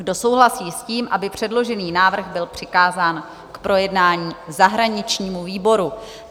Kdo souhlasí s tím, aby předložený návrh byl přikázán k projednání zahraničnímu výboru?